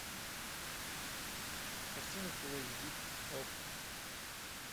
картина фулл эйч ди окко